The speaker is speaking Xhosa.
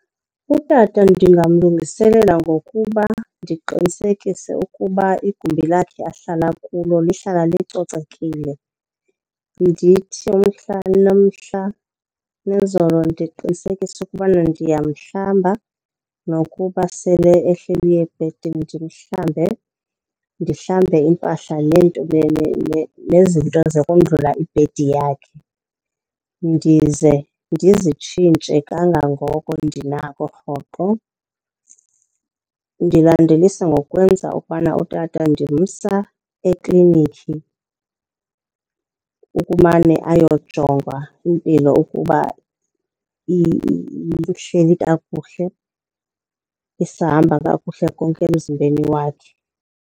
Utata ndingamlungiselela ngokuba ndiqinisekise ukuba igumbi lakhe ahlala kulo lihlala licocekile. Ndithi umhla nomhla nezolo ndiqinisekise ukubana ndiyamhlamba nokuba sele ehleli ebhedini ndimhlambe. Ndihlambe iimpahla nezinto zokondlula ibhedi yakhe, ndize ndizitshintshe kangangoko ndinako rhoqo. Ndilandelise ngokwenza ukubana utata ndimsa eklinikhi ukumane ayojongwa impilo ukuba ihleli kakuhle, isahamba kakuhle konke emzimbeni wakhe.